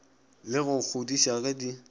le go kgodiša ge di